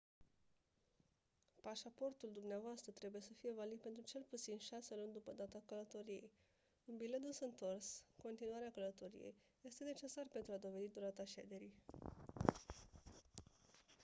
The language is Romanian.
pașaportul dumneavoastră trebuie să fie valid pentru cel puțin 6 luni după data călătoriei. un bilet dus-întors/continuare a călătoriei este necesar pentru a dovedi durata șederii